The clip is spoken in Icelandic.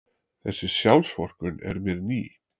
Þessi sjálfsvorkunn er mér ný.